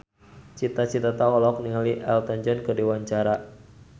Cita Citata olohok ningali Elton John keur diwawancara